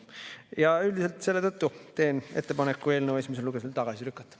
Ja üldiselt selle tõttu teen ettepaneku eelnõu esimesel lugemisel tagasi lükata.